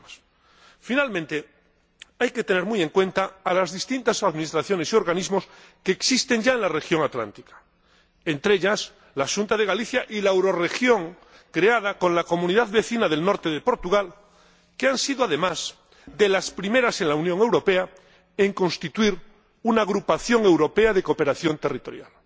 Por último, hay que tener muy en cuenta a las distintas administraciones y organismos que ya existen en la región atlántica, entre ellos, la Xunta de Galicia y la Eurorregión creada con la comunidad vecina del norte de Portugal, que han sido, además, de los primeros en la Unión Europea en constituir una agrupación europea de cooperación territorial.